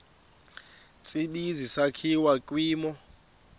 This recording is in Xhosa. tsibizi sakhiwa kwimo